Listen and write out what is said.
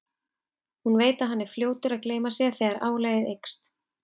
Hún veit að hann er fljótur að gleyma sér þegar álagið eykst.